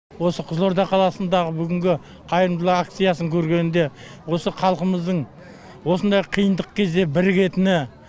осы қызылорда қаласындағы бүгінгі қайырымдылық акциясын көргенде осы халқымыздың осындай қиындық кезде бірігетіні